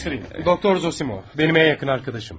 Tanış edim, doktor Zosimov mənim ən yaxın dostumdur.